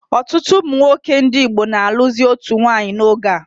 Ọtụtụ ụmụnwoke ndị Igbo na alụzi otu nwanyị n'oge a